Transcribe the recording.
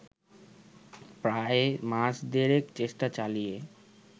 প্রায় মাস দেড়েক চেষ্টা চালিয়ে